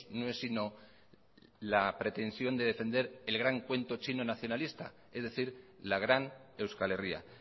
no es sino la pretensión de defender el gran cuento chino nacionalista es decir la gran euskal herria